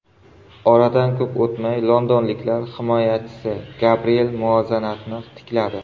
Oradan ko‘p o‘tmay londonliklar himoyachisi Gabriel muvozanatni tikladi.